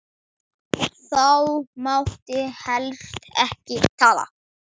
Þá mátti helst ekki tala.